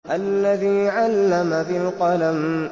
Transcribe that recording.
الَّذِي عَلَّمَ بِالْقَلَمِ